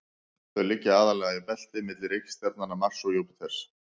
þau liggja aðallega í belti milli reikistjarnanna mars og júpíters